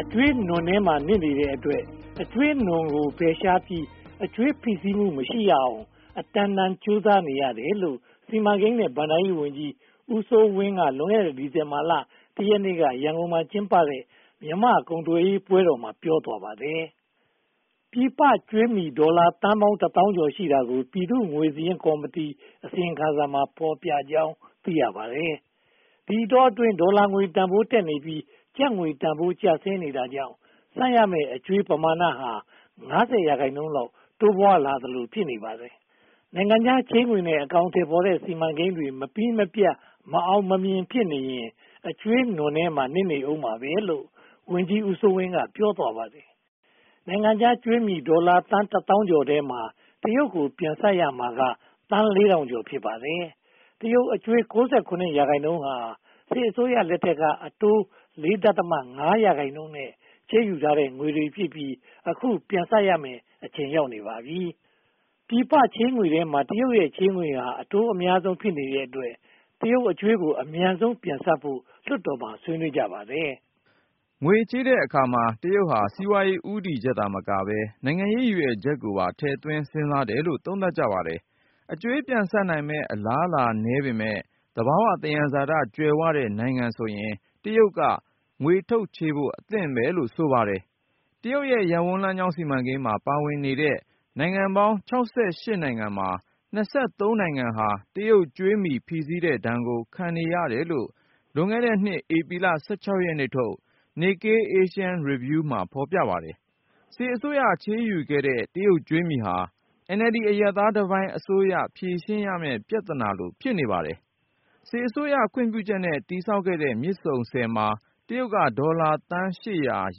အကြွေးနွံထဲမှာ နစ်နေတဲ့အတွက် အကြွေးနွံကို ဖယ်ရှားပြီး အကြွေးဖိစီးမှုမရှိရအောင် အတန်တန်ကြိုးပမ်းနေရတယ်လို့ စီမံကိန်းနဲ့ ဘဏ္ဍာရေးဝန်ကြီး ဦးစိုးဝင်းက လွန်ခဲ့တဲ့ ဒီဇင်ဘာလ (၁) ရက်နေ့က ရန်ကုန်မြို့မှာ ကျင်းပပြုလုပ်တဲ့ မြန်မာ့ကုန်သွယ်ရေးပွဲတော်မှာ ပြောသွားပါတယ်။ ပြည်ပကြွေးမြီ ဒေါ်လာသန်းပေါင်း တစ်သောင်းကျော် ရှိတာကို ပြည်သူ့ငွေစာရင်းကော်မတီ အစီရင်ခံစာမှာ ဖော်ပြကြောင်း သိရပါတယ်။ ဒီအတောအတွင်း ဒေါ်လာငွေတန်းဖိုးတက်လာပြီး ကျပ်ငွေတန်းဖိုး ကျဆင်းနေတာကြောင့် ပေးဆပ်ရမယ့် အကြွေးပမာဏဟာ (၅၀) ရာခိုင်နှုန်းလောက် တိုးပွားလာသလို ဖြစ်နေပါတယ်။ နိုင်ငံခြားချေးငွေနဲ့ အကောင်အထည်ဖော်တဲ့ စီမံကိန်းတွေ မပြီးမပြတ်၊ မအောင်မမြင် ဖြစ်နေရင် အကြွေးနွံထဲမှာ နစ်နေဦးမှာပဲလို့ ဝန်ကြီးဦးစိုးဝင်း က ပြောဆိုပါတယ်။ နိုင်ငံခြားကြွေးမြီ ဒေါ်လာသန်းတစ်သောင်းကျော်ထဲမှာ တရုတ်ကို ပြန်ဆပ်ရမှာက သန်း (၄၀၀၀) ကျော် ဖြစ်ပါတယ်။ တရုတ်အကြွေး (၉၇) ရာခိုင်နှုန်းဟာ စစ်အစိုးရလက်ထက်က အတိုး (၄.၅) ရာခိုင်နှုန်းနဲ့ ချေးယူခဲ့တဲ့ ငွေတွေဖြစ်ပြီး အခုပြန်ဆပ်ရမယ့် အချိန်ရောက်နေပါပြီ။ ပြည်ပချေးငွေထဲမှာ တရုတ်ရဲ့ ချေးငွေဟာ အတိုးအများဆုံး ဖြစ်နေတဲ့အတွက် တရုတ်အကြွေးကို အမြန်ဆုံးပြန်ဆပ်ဖို့ လွှတ်တော်မှာ ဆွေးနွေးကြပါတယ်။ ငွေချေးတဲ့အခါမှာ တရုတ်က စီးပွားရေး ဦးတည်ချက်သာမကဘဲ နိုင်ငံရေးရည်ရွယ်ချက်ကိုပါ ထည့်သွင်းစဉ်းစားတယ်လို့ သုံးသပ်ကြပါတယ်။ အကြွေးပြန်ဆပ်နိုင်မယ့် အလားအလာ နည်းပေမယ့် သဘာဝသယံဇာတကြွယ်ဝတဲ့ နိုင်ငံဆိုရင် တရုတ်က ငွေထုတ်ချေးဖို့ အသင့်ပဲလို့ ဆိုပါတယ်။ တရုတ်ရဲ့ ရပ်ဝန်းလမ်းကြောင်း စီမံကိန်းမှာ ပါဝင်နေတဲ့ နိုင်ငံပေါင်း (၆၈) နိုင်ငံမှာ (၂၃) နိုင်ငံဟ တရုတ်ကြွေးမြီ ဖိစီးတဲ့ဒဏ်ကို ခံနေရတယ်လို့ လွန်ခဲ့တဲ့နှစ် ဧပြီ (၁၆) ရက်နေ့ထုတ် Nikkei Asian Review မှာ ဖော်ပြထားပါတယ်။ စစ်အစိုးရ ချေးယူခဲ့တဲ့ တရုတ်ကြွေးမြီဟာ NLD အရပ်သားတပိုင်း အစိုးရ ဖြေရှင်းရမယ့် ပြဿနာလို ဖြစ်နေပါတယ်။ စစ်အစိုးရ ခွင့်ပြုချက်နဲ့ တည်ဆောက်ခဲ့တဲ့ မြစ်ဆုံဆည်မှာ တရုတ်က ဒေါ်လာသန်း (၈၀၀)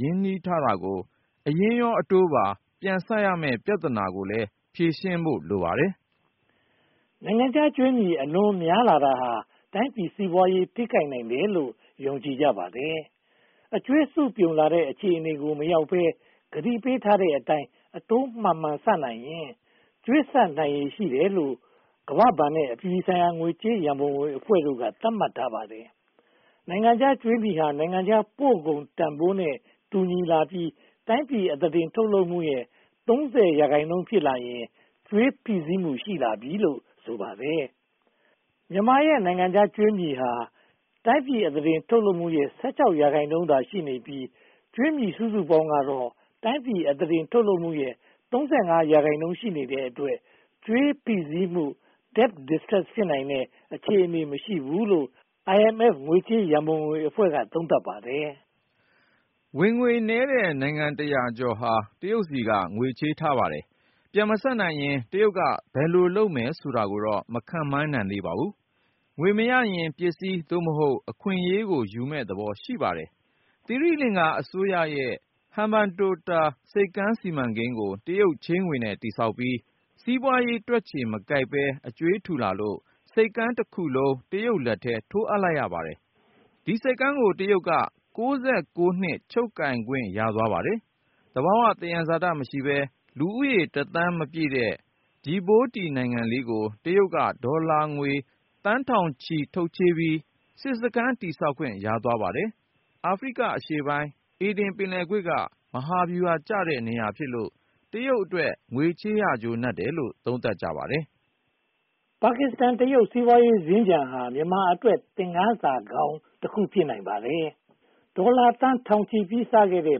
ရင်းနှီးထားတာကို အရင်းရော အတိုးပါ ပြန်ဆပ်မယ့် ပြဿနာကိုလည်း ဖြေရှင်းဖို့ လိုပါတယ်။ နိုင်ငံခြားကြွေးမြီ အလွန်များလာတာဟာ တိုင်းပြည်စီးပွားရေး ထိခိုက်နိုင်တယ်လို့ ယုံကြည်ကြပါတယ်။ အကြွေးစုပြုံလာတဲ့ အခြေအနေကို မရောက်ဘဲ ကတိပေးထားတဲ့အတိုင်း အတိုးမှန်မှန်ဆပ်နိုင်ရင် “ကြွေးဆပ်နိုင်ရည်” ရှိတယ်လို့ ကမ္ဘာ့ဘဏ်နဲ့ အပြည်ပြည်ဆိုင်ရာ ငွေကြေးရန်ပုံငွေအဖွဲ့တို့က သတ်မှတ်ထားပါတယ်။ နိုင်ငံခြားကြွေးမြီဟာ တိုင်းပြည်ပို့ကုန်တန်းဖိုးနဲ့ တူညီလာပြီး တိုင်းပြည်အသားတင် ထုတ်လုပ်မှုရဲ့ (၃၀) ရာခိုင်နှုန်း ဖြစ်လာရင် ကြွေးဖိစီးလာပြီလို့ ဆိုပါတယ်။ မြန်မာနိုင်ငံရဲ့ ကြွေးမြီဟာ တိုင်းပြည်အသားတင် ထုတ်လုပ်မှုရဲ့ (၁၆) ရာခိုင်နှုန်းသာရှိနေပြီး ကြွေးမြီစုစုပေါင်းကတော့ တိုင်းပြည်အသားတင် ထုတ်လုပ်မှုရဲ့ (၃၅) ရာခိုင်နှုန်း ရှိနေတဲ့အတွက် ကြွေးဖိစီးမှု Debt Distress ဖြစ်နိုင်တဲ့ အခြေအနေမရှိဘူးလို့ IMF ငွေကြေးရန်ပုံငွေအဖွဲ့က သုံးသပ်ပါတယ်။ ဝင်ငွေနည်းတဲ့ နိုင်ငံတရာကျော်ဟာ တရုတ်ဆီက ငွေချေးထားပါတယ်။ ပြန်မဆပ်နိုင်ရင် တရုတ်က ဘယ်လိုလုပ်မယ်ဆိုတာကိုတော့ မခန့်မှန်းနိုင်သေးပါဘူး။ ငွေမရရင်ပစ္စည်း (သို့မဟုတ်) အခွင့်အရေးကိုယူမယ့်သဘော ရှိပါတယ်။ သီရိလင်္ကာအစိုးရရဲ့ ‘ဟန်ဘန်တိုတာ’ ဆိပ်ကမ်းစီမံကိန်းကို တရုတ်ချေးငွေနဲ့ တည်ဆောက်ပြီး စီးပွားရေးတွက်ချေမကိုက်ဘဲ အကြွေးထူလာလို့ ဆိပ်ကမ်းတခုလုံး တရုတ်လက်ထဲ ထိုးအပ်လိုက်ရပါတယ်။ ဒီဆိပ်ကမ်းကို တရုတ်က (၉၉) နှစ်ချုပ် ကိုင်ခွင့်ရသွားပါတယ်။ သဘာဝသယံဇာတ မရှိဘဲ လူဦးရေးတစ်သန်းမပြည့်တဲ့ “ဂျီဘိုးတီ” နိုင်ငံလေးကို တရုတ်က ဒေါ်လာသန်းထောင်ချီ ထုတ်ချေးပြီး စစ်စခန်းတည်ဆောက်ခွင့်ရသွားပါတယ်။ အာဖရိကအရှေ့ပိုင်း အေဒင်ပင်လယ်ကွေ့က မဟာဗျူဟာကျတဲ့ နေရာဖြစ်လို့ တရုတ်အတွက် ငွေချေးရကျိုးနပ်တယ်လို့ သုံးသပ်ကြပါတယ်။ ပါကစ္စတန်-တရုတ် စီးပွားရေးစင်္ကြန်ဟာ မြန်မာအတွက် သင်ခန်းစာကောင်းတခု ဖြစ်နိုင်ပါတယ်။ ဒေါ်လာသန်းထောင်ချီပြီးစခဲ့တဲ့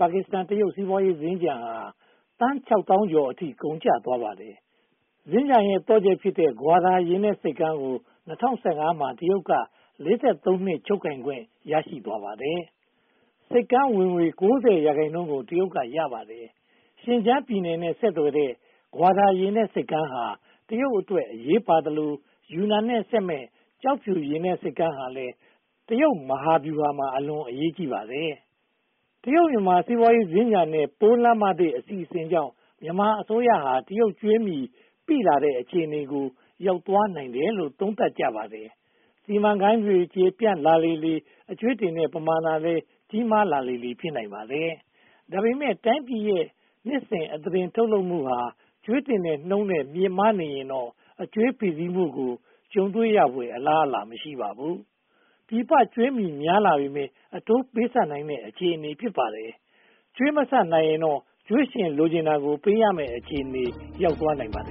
ပါကစ္စတန်-တရုတ် စီးပွားရေးစင်္ကြန်ဟာ သန်းခြောက်သောင်းကျော်အထိ ကုန်ကျသွားပါတယ်။ စင်္ကြန်ရဲ့ သော့ချက်ဖြစ်တဲ့ ဂွာဒါရေနက်ဆိပ်ကမ်းကို ၂၀၁၅ မှာ တရုတ်က (၄၃) နှစ် ချုပ်ကိုင်ခွင့် ရသွားပါတယ်။ ဆိပ်ကမ်းဝင်ငွေ (၉၀) ရာခိုင်နှုန်းကို တရုတ်က ရရှိသွားပါတယ်။ ရှင်းဂျန်ပြည်နယ်နဲ့ ဆက်သွယ်တဲ့ ဂွာဒါရေနက်ဆိပ်ကမ်းဟာ တရုတ်အတွက် အရေးပါသလို ယူနန်နဲ့ ဆက်မယ့် ကျောက်ဖြူရေနက်ဆိပ်ကမ်းဟာလည်း တရုတ်မဟာဗျူဟာမှာ အလွန်အရေးကြီးပါတယ်။ တရုတ်-မြန်မာ စီးပွားရေးစင်္ကြန်နဲ့ ပိုးလမ်းမသစ် အစီအစဉ်ကြောင့် မြန်မာအစိုးရဟာ တရုတ်ကြွေးမြီပိလာတဲ့ အခြေအနေကို ရောက်သွားနိုင်တယ်လို့ သုံးသပ်ကြပါတယ်။ စီမံကိန်းတွေ ကျယ်ပြန့်လာလေလေ အကြွေးတင်တဲ့ ပမာဏလည်း ကြီးမားလာလေလေ ဖြစ်လာနိုင်ပါတယ်။ ဒါပေမဲ့ တိုင်းပြည်ရဲ့ နှစ်စဉ်အသားတင် ထုတ်လုပ်မှုဟာ ကြွေးတင်တဲ့နှုန်းထက် မြင့်မားနေရင်တော့ အကြွေးဖိစိးမှုကို ကြုံတွေ့ဖွယ်ရာ အလားအလာ မရှိပါဘူး။ ပြည်ပကြွေးမြီများလာပေမယ့် အတိုးပေးဆပ်နိုင်တဲ့ အခြေအနေ ဖြစ်ပါတယ်။ ကြွေးမဆပ်နိုင်ရင်တော့ ကြွေးရှင်လိုချင်တာကို ပေးရမယ့် အခြေအနေ ရောက်သွားနိုင်ပါတယ်